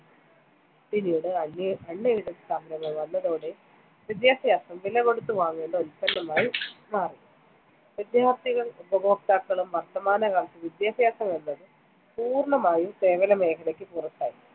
പിന്നീട്‌ unaided സ്ഥാപനങ്ങൾ വന്നതോടെ വിദ്യാഭ്യാസം വിലകൊടുത്ത്‌ വാങ്ങേണ്ട ഉൽപന്നമായി മാറി. വിദ്യാർത്ഥികൾ ഉപഭോക്താക്കളും. വർത്തമാന വിദ്യാഭ്യാസമെന്നത്‌ പൂർണമായും സേവനമേഖലക്ക്‌ പുറത്തായി.